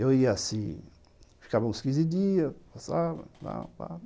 Eu ia assim, ficava uns quinze dias, passava, tal.